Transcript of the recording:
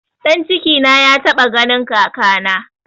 Ɗan cikina ya taɓa ganin kakana